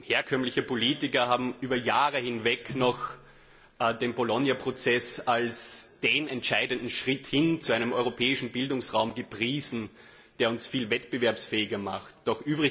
Herkömmliche Politiker haben über Jahre hinweg noch den Bologna Prozess als den entscheidenden Schritt hin zu einem europäischen Bildungsraum gepriesen, der uns viel wettbewerbsfähiger machen sollte.